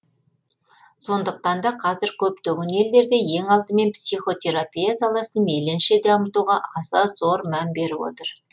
сондықтан да қазір көптеген елдерде ең алдымен психотерапия саласын мейлінше дамытуға аса зор мән беріп отыр